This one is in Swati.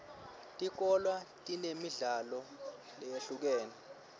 tikolwa tinemidlalo leyehlukene